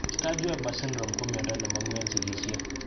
Sturge Weber syndrome ko miondo ne mong'u en sigisiet.